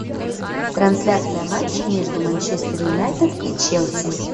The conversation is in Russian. трансляция матча между манчестер юнайтед и челси